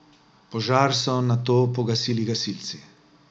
Požar so nato pogasili gasilci.